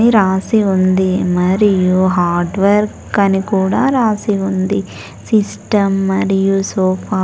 ని రాసి ఉంది మరియు హార్డ్వర్క్ అని కూడా రాసి ఉంది సిస్టం మరియు సోఫా --